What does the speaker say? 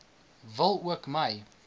wil ook my